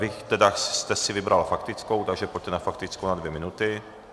Vy jste si vybrala faktickou, takže pojďte na faktickou na dvě minuty.